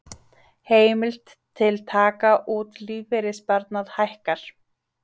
Heimild til taka út lífeyrissparnað hækkar